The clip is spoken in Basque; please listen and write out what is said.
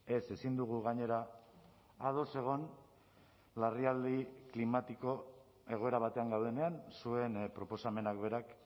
ez ezin dugu gainera ados egon larrialdi klimatiko egoera batean gaudenean zuen proposamenak berak